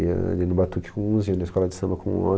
Eu ia ali no Batuque com uns, ia na escola de samba com outros.